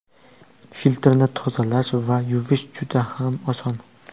Filtrni tozalash va yuvish juda ham oson.